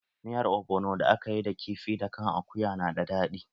Miyar ogbono da akayi da kifi da kan akuya na da daɗi